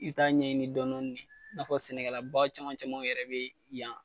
I bi taa ɲɛ ɲini dɔɔni dɔɔni de. Nafɔ sɛnɛkɛla ba caman caman yɛrɛ be yan